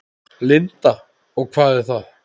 Linda: Og hvað er það?